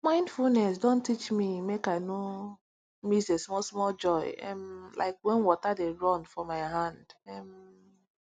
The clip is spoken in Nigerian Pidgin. mindfulness dey teach me make i no miss the smallsmall joy um like how water dey run for my hand um